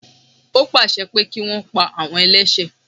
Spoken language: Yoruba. Ó pàṣẹ pé kí wọn pa àwọn ẹlẹ́sẹ̀